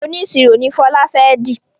oniṣiro no Fola fè di